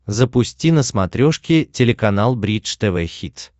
запусти на смотрешке телеканал бридж тв хитс